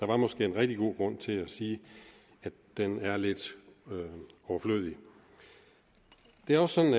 der måske en rigtig god grund til at sige at den er lidt overflødig det er også sådan